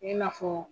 I n'a fɔ